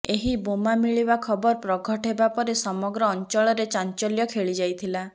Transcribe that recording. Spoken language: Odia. ଏହି ବୋମା ମିଳିବା ଖବର ପ୍ରଘଟ ହେବା ପରେ ସମଗ୍ର ଅଞ୍ଚଳରେ ଚାଞ୍ଚଲ୍ୟ ଖେଳି ଯାଇଥିଲା